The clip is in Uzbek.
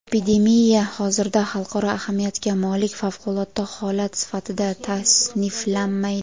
epidemiya hozirda xalqaro ahamiyatga molik favqulodda holat sifatida tasniflanmaydi.